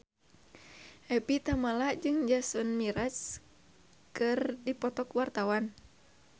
Evie Tamala jeung Jason Mraz keur dipoto ku wartawan